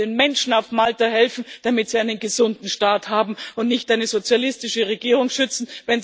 Wir wollen den Menschen auf Malta helfen, damit sie einen gesunden Staat haben, und nicht eine sozialistische Regierung schützen.